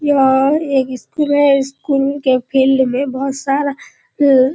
यह एक स्कूल है स्कूल के फील्ड मे बहुत सारा --